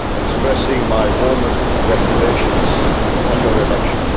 expressing my warmest congratulations on your election.